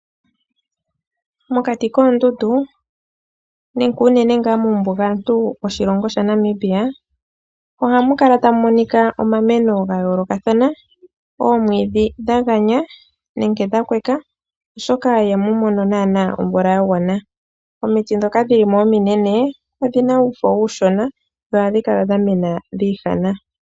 Mokati koondundu nenge uunene ngaa mumbugantu woshilongo shaNamibia ohamu kala tamu monika omameno ga yoolokathana; omwiidhi dha ganya nenge dha kweka, oshoka ihamu mono nana omvula ya gwana. Omiti ndhoka dhi li mo ominene odhi na uufo uushona dho ohadhi kala dha mena dhi ihana.